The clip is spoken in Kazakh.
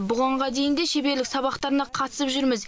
бұғанға дейін де шеберлік сабақтарына қатысып жүрміз